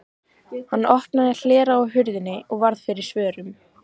Hann opnaði hlera á hurðinni og varð fyrir svörum.